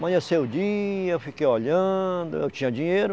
Amanheceu o dia, eu fiquei olhando, eu tinha dinheiro,